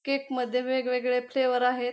Cake मध्ये वेगवेगळे flavour आहेत.